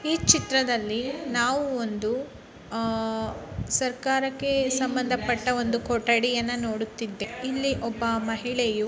ಈ ಚಿತ್ರದಲ್ಲಿ ನಾವು ಒಂದು ಆ-- ಸರ್ಕಾರಕ್ಕೆ ಸಂಬಂದ ಪಟ್ಟ ಒಂದು ಕೊಠಡಿ ಅನ್ನ ನೋಡುತ್ತಿದ್ದೇವೆ ಇಲ್ಲಿ ಒಬ್ಬ ಮಹಿಳಯು--